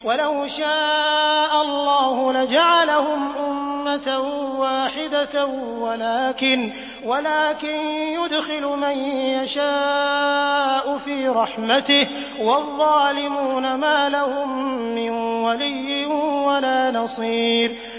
وَلَوْ شَاءَ اللَّهُ لَجَعَلَهُمْ أُمَّةً وَاحِدَةً وَلَٰكِن يُدْخِلُ مَن يَشَاءُ فِي رَحْمَتِهِ ۚ وَالظَّالِمُونَ مَا لَهُم مِّن وَلِيٍّ وَلَا نَصِيرٍ